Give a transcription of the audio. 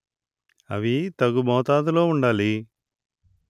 అవి తగు మోతాదులో ఉండాలి